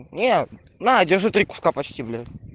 нет на держи три куска почти бля